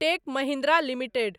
tech Mahindra limited